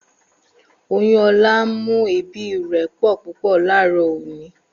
Oyun Ola n mu eebi re po pupo laaro oni.